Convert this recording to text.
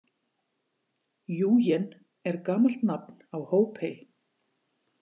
Jújen er gamalt nafn á Hópei.